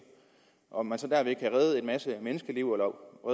og man så derved kan redde en masse menneskeliv